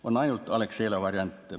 On ainult Alexela variant.